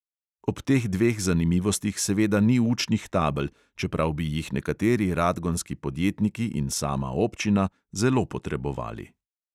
Ob teh dveh zanimivostih seveda ni učnih tabel, čeprav bi jih nekateri radgonski podjetniki in sama občina zelo potrebovali.